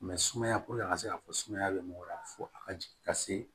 sumaya puruke a ka se ka fɔ sumaya bɛ mɔgɔ la fo a ka jigin ka se